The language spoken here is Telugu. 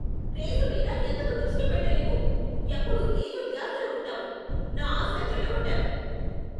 రేసు మీద ఎందుకు దృష్టి పెట్టలేవు? ఎప్పుడూ ఏదో ధ్యాసలో ఉంటావు. నా ఆశ చెడగోట్టావు.